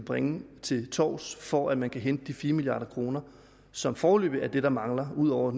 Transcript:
bringe til torvs for at man kan hente de fire milliard kr som foreløbig er det der mangler ud over